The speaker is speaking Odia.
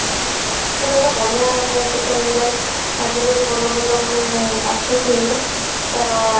ଏଇଟା ବଢିଆ ଗୋଟେ ମାନେ social media ରେ ଆଜି କଲି ଭଲ ଭଲ ମାନେ ଆସୁଛି ତାର ମାନେ